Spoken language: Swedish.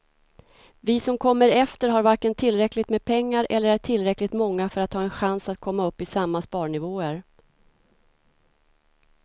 Vi som kommer efter har varken tillräckligt med pengar eller är tillräckligt många för att ha en chans att komma upp i samma sparnivåer.